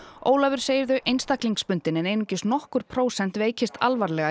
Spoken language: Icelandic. Ólafur segir þau einstaklingsbundin en einungis nokkur prósent veikjast alvarlega